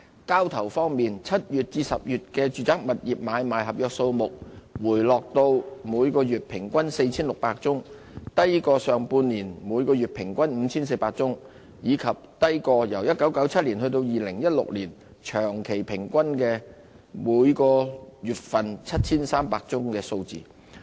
交投方面 ，7 月至10月的住宅物業買賣合約數目回落至每月平均約 4,600 宗，低於上半年的每月平均 5,400 宗，以及低於1997年至2016年長期平均的每月 7,300 宗的數字。